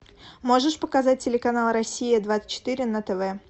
можешь показать телеканал россия двадцать четыре на тв